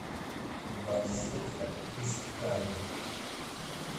барсетка из ткани